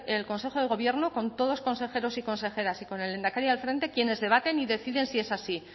el consejo de gobierno con todos los consejeros y consejeras y con el lehendakari al frente quienes debaten y deciden si es así